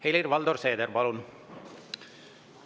Helir-Valdor Seeder, palun!